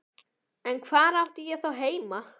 En hvar átti ég þá heima?